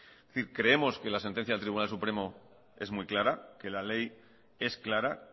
es decir creemos que la sentencia del tribunal supremo es muy clara que la ley es clara